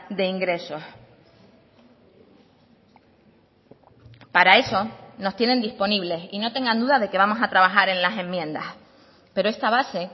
de ingresos para eso nos tienen disponibles y no tengan duda de que vamos a trabajar en las enmiendas pero esta base